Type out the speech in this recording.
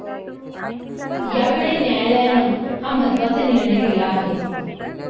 यावेळी न्यायालयानं हा महत्वाचा निर्णय दिला आहे.